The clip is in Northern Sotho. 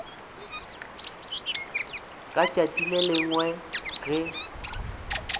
ka tšatši le lengwe ge